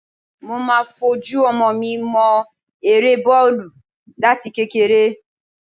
Mo máa fojú ọmọ mi mọ eré bọ́ọ̀lù láti kékeré